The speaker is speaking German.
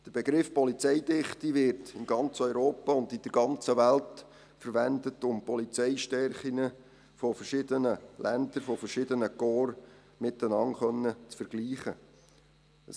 Der Begriff Polizeidichte wird in ganz Europa und in der ganzen Welt verwendet, um die Polizeistärken verschiedener Länder, verschiedener Korps miteinander vergleichen zu können.